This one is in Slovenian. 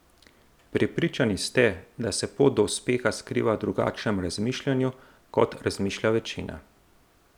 Prepričani ste, da se pot do uspeha skriva v drugačnem razmišljanju, kot razmišlja večina.